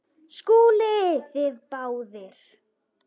SKÚLI: Þið báðir?